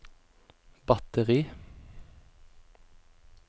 batteri